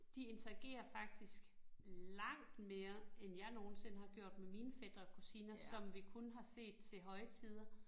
De interagerer faktisk langt mere end jeg nogensinde har gjort med mine fætre og kusiner, som vi kun har set til højtider